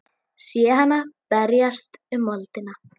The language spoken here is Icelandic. Sé hana berjast um í moldinni.